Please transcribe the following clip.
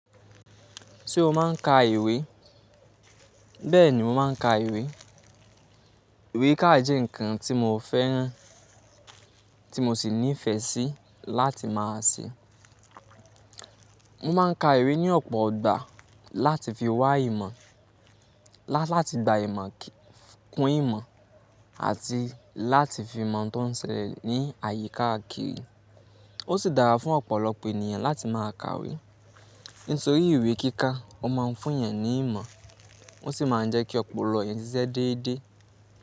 Ṣé o máà ń ka ìwé? Bẹ́ẹ̀ni mo máa ń ka ìwé. Ìwé kíkà jẹ́ ǹkan tí mo fẹ́ràn tí mo sì nífẹ̀ẹ́ sí láti má a ṣe. Mo máa ń ka ìwé ní ọ̀pọ̀ ọgbà láti fi wá ìmọ̀, láti gba ìmọ̀ kún ìmọ̀ àti láti fi ìmọ̀ tó ń ṣẹlẹ̀ ní àyíká kiri. Ó sì dára fún ọ̀pọ̀lọpọ̀ ènìyàn láti má a ka ìwé. Nítorí ìwé kíkà o máa ń fún'yàn ní ìmọ̀, ó sì máa ń jẹ́ kí ọ̀pọ̀lọpọ̀ ènìyàn ṣiṣẹ́ déédéé.